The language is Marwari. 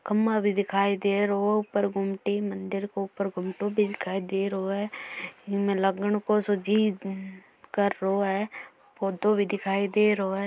खंबा भी दिखाई दे रो ऊपर गुमटी मंदिर के ऊपर गुमटो भी दिखाई दे रो है इसमें लागण को सो जी कर रो है पौधो भी दिखाई दे रो है।